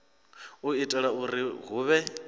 u itela uri hu vhe